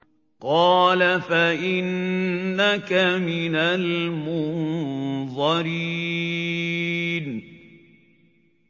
قَالَ فَإِنَّكَ مِنَ الْمُنظَرِينَ